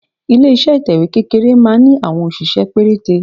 Ilé iṣẹ́ ìtẹ̀wẹ́ kékeré máa ń ní àwọn òṣìṣẹ́ pérété.